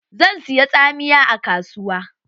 Zan siya tsamiya a kasuwa.